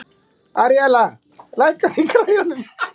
Aríella, lækkaðu í græjunum.